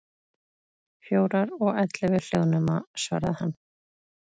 Fjórar, og ellefu hljóðnema, svaraði hann.